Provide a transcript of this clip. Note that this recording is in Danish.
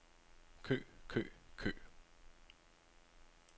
kø kø kø